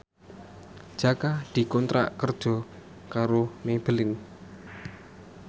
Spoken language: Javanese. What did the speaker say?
Jaka dikontrak kerja karo Maybelline